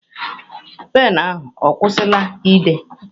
Penụ ahụ ọkwụsịla ide?